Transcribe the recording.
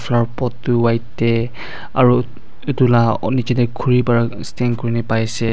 flower boat tu white tey aro etu la oh nejey tey khure pra stand kurena pai se.